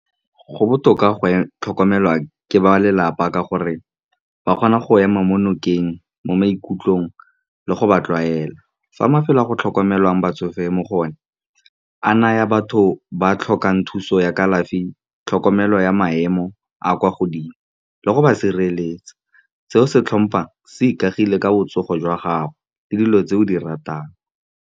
Go botoka go tlhokomelwa ke ba lelapa ka gore ba kgona go ema mo nokeng mo maikutlong le go ba tlwaela. Fa mafelo a go tlhokomelwang batsofe mo go o ne a naya batho ba tlhokang thuso ya kalafi, tlhokomelo ya maemo a kwa godimo, le go ba sireletsa. Seo se tlhompang se ikagile ka botsogo jwa gago le dilo tse o di ratang.